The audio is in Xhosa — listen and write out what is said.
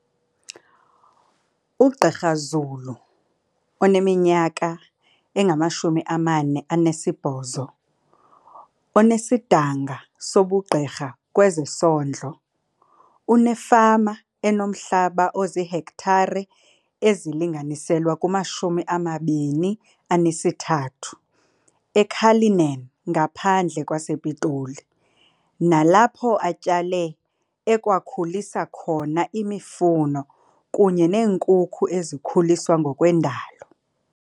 UGqr Zulu oneminyaka engama-48, onesidanga sobugqirha kwezesondlo, unefama enomhlaba oziihektare ezilinganiselwa kuma-23 e-Cullinan ngaphandle kwa sePitoli, nalapho atyale, ekwakhulisa khona imifuno kunye neenkukhu ezikhuliswa ngokwendalo.